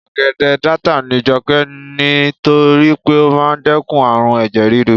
ogede data ni joke ni to ri pe o maa n dekun arun eje riru